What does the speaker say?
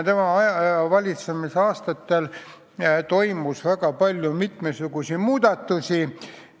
Tema valitsemisaastatel toimus väga palju mitmesuguseid muudatusi.